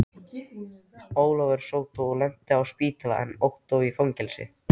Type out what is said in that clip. Ólafur sódó lenti á spítala en Ottó í fangelsi.